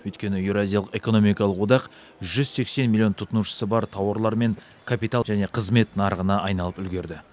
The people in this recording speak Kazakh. өйткені еуразиялық экономикалық одақ жүз сексен миллион тұтынушысы бар тауарлар мен капитал және қызмет нарығына айналып үлгерді